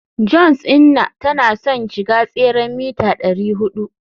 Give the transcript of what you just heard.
johns inna tana son ya shiga tseren mita dari hudu